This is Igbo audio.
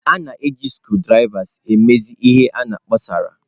A na-eji screwdrivers emezi ihe na kposara.